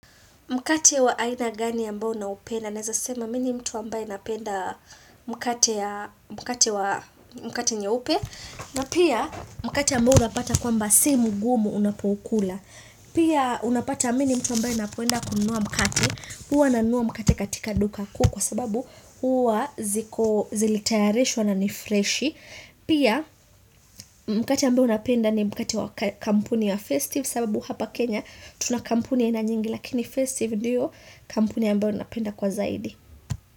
Mkate wa aina gani ambao na upenda? Naezasema mini mtu ambaye napenda mkate ya mkate nye upe. Na pia mkate ambao unapata kwamba si mgumu unapoukula. Pia unapata mini mtu ambaye napoenda kunua mkati. Huwa nanuwa mkate katika duka kuukwa sababu huwa zilitayarishwa na nifreshi. Pia mkati ambao napenda ni mkati wa kampuni ya festive sababu hapa Kenya. Tuna kampuni ina nyingi lakini festive ndio kampuni ambayo napenda kwa zaidi.